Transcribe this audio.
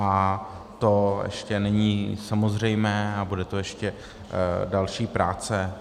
A to ještě není samozřejmé a bude to ještě další práce.